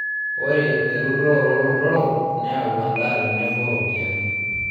Ore erutore oo lotorok neyau endaa tenebo ropiani